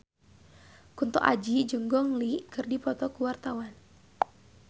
Kunto Aji jeung Gong Li keur dipoto ku wartawan